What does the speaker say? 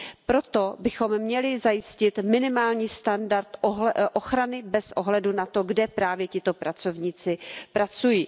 Proto bychom měli zajistit minimální standard ochrany bez ohledu na to, kde právě tito pracovníci pracují.